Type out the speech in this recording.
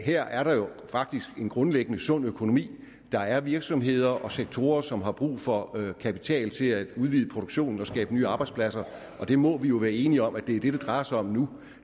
her er der faktisk en grundlæggende sund økonomi der er virksomheder og sektorer som har brug for kapital til at udvide produktionen og få skabt nye arbejdspladser og det må vi være enige om er det det drejer sig om nu